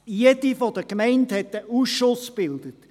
Jede der Gemeinden hat einen Ausschuss gebildet.